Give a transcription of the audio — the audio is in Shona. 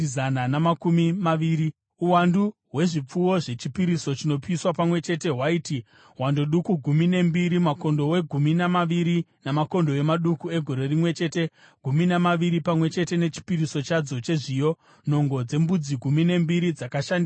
Uwandu hwezvipfuwo zvechipiriso chinopiswa pamwe chete hwaiti hando duku gumi nembiri, makondobwe gumi namaviri namakondobwe maduku egore rimwe chete gumi namaviri, pamwe chete nechipiriso chadzo chezviyo. Nhongo dzembudzi gumi nembiri dzakashandiswa pachipiriso chechivi.